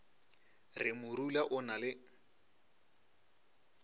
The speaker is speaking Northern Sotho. re morula o na le